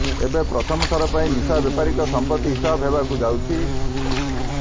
ଏବେ ପ୍ରଥମଥର ପାଇଁ ନିଶା ବେପାରୀଙ୍କ ସମ୍ପତ୍ତି ହିସାବ ହେବାକୁ ଯାଉଛି